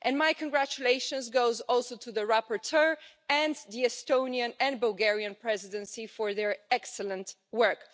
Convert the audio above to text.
My congratulations goes also to the rapporteur and the Estonian and Bulgarian Presidency for their excellent work.